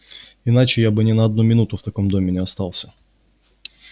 иначе я бы ни на одну минуту в таком доме не остался